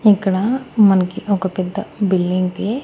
ఇక్కడ మనకి ఒక పెద్ద బిల్లింగ్ కి--